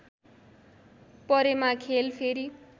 परेमा खेल फेरि